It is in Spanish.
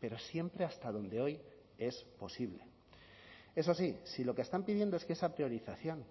pero siempre hasta donde hoy es posible eso sí si lo que están pidiendo es que esa priorización